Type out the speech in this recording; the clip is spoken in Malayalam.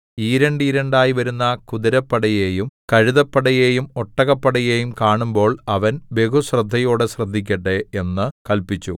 ഈരണ്ടീരണ്ടായി വരുന്ന കുതിരപ്പടയേയും കഴുതപ്പടയെയും ഒട്ടകപ്പടയെയും കാണുമ്പോൾ അവൻ ബഹുശ്രദ്ധയോടെ ശ്രദ്ധിക്കട്ടെ എന്നു കല്പിച്ചു